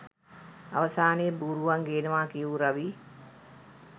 අවසානයේ බූරුවන් ගේනවා කියූ රවී